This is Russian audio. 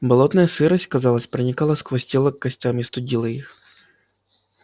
болотная сырость казалось проникала сквозь тело к костям и студила их